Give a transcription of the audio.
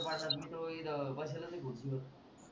इत बसल असेल खुर्ची वर